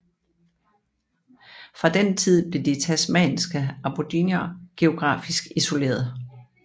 Fra den tid blev de tasmanske aboriginer geografisk isoleret